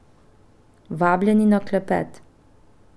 Vabljeni na klepet!